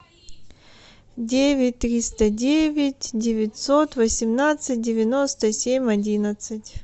девять триста девять девятьсот восемнадцать девяносто семь одиннадцать